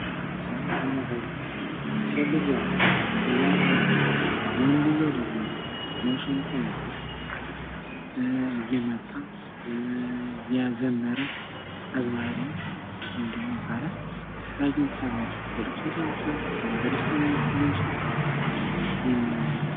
ምስሉ እንደሚያሳየው ሴትዮዋ እያዳመጠች ወንድየው ደግሞ መሰንቆ ይዞ እየመታ፣ እያዘመረ፣ አዝማሪ ወይም ደግሞ ይባላል ።የተለያዩ ምክንያቶች አሉ። በለቅሶ ምክንያት ሊሆን ይችላል ወይም በደስታም ሊሆን ይችላል።